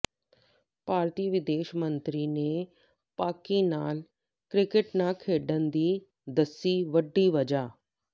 ਭਾਰਤੀ ਵਿਦੇਸ਼ ਮੰਤਰੀ ਨੇ ਪਾਕਿ ਨਾਲ ਕ੍ਰਿਕਟ ਨਾ ਖੇਡਣ ਦੀ ਦੱਸੀ ਵੱਡੀ ਵਜ੍ਹਾ